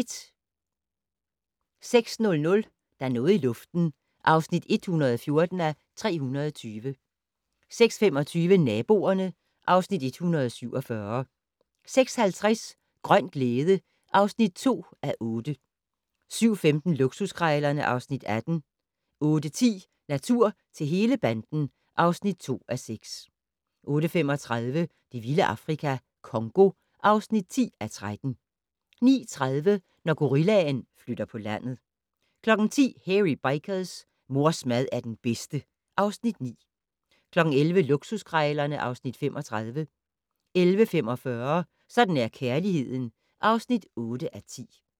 06:00: Der er noget i luften (114:320) 06:25: Naboerne (Afs. 147) 06:50: Grøn glæde (2:8) 07:15: Luksuskrejlerne (Afs. 18) 08:10: Natur til hele banden (2:6) 08:35: Det vilde Afrika - Congo (10:13) 09:30: Når gorillaen flytter på landet 10:00: Hairy Bikers: Mors mad er den bedste (Afs. 9) 11:00: Luksuskrejlerne (Afs. 35) 11:45: Sådan er kærligheden (8:10)